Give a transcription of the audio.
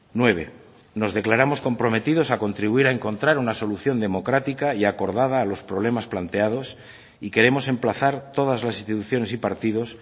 nueve nos declaramos comprometidos a contribuir a encontrar una solución democrática y acordada a los problemas planteados y queremos emplazar todas las instituciones y partidos